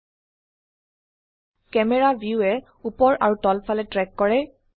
camera ভিউএ উপৰ আৰু তলফালে ট্ৰেক কৰে